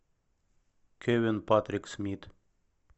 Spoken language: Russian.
кевин патрик смит